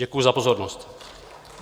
Děkuji za pozornost.